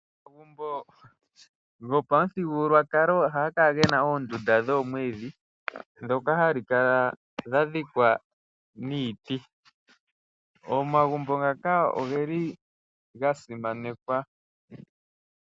Omagumbo gopamuthigukulwakalo ohaga kala gena omagumbo goomwiidhi , ndhoka hadhi kala dha dhikwa niiti . Omagumbo ngaka ogeli gasimanekwa.